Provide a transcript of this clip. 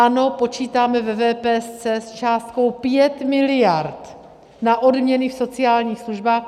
Ano, počítáme ve VPS s částkou 5 miliard na odměny v sociálních službách.